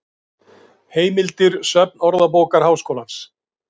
Heimildir Söfn Orðabókar Háskólans.